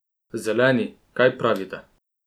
Zeleni, kaj pravite?